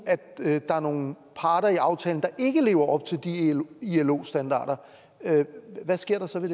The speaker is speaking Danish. der er nogle parter i aftalen der ikke lever op til de ilo standarder hvad sker der så ved